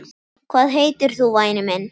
Hvað heitir þú væni minn?